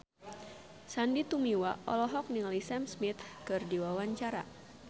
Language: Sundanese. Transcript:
Sandy Tumiwa olohok ningali Sam Smith keur diwawancara